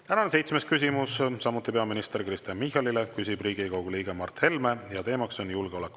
Tänane seitsmes küsimus on samuti peaminister Kristen Michalile, küsib Riigikogu liige Mart Helme ja teema on julgeolek.